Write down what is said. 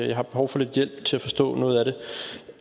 jeg har behov for lidt hjælp til at forstå noget